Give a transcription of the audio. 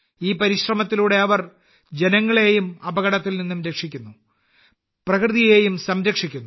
ഈ പരിശ്രമത്തിലൂടെ അവർ ജനങ്ങളെയും അപകടത്തിൽ നിന്നും രക്ഷിക്കുന്നു പ്രകൃതിയും സംരക്ഷിക്കുന്നു